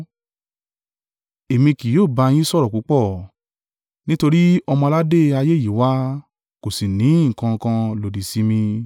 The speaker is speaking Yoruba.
Èmi kì yóò bá yín sọ̀rọ̀ púpọ̀, nítorí ọmọ-aládé ayé yí wá, kò sì ní nǹkan kan lòdì sí mi.